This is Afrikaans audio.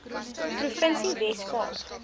provinsie wes kaap